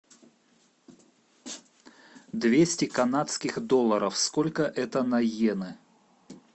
двести канадских долларов сколько это на йены